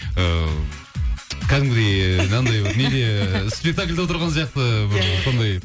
ыыы кәдімгідей анандай бір неде спектакльде отырған сияқты бір сондай